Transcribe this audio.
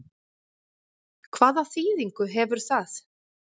Hvaða þýðingu hefur það?